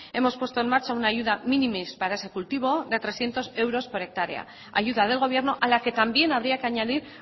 hemos puesto en marcha una ayuda minimis para ese cultivo de trescientos euros por hectárea ayuda del gobierno a la que también habría que añadir